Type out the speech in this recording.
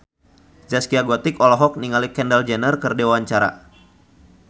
Zaskia Gotik olohok ningali Kendall Jenner keur diwawancara